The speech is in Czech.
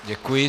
Děkuji.